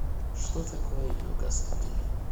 что такое йога студия